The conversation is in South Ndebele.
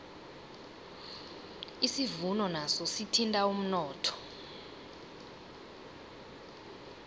isivuno naso sithinta umnotho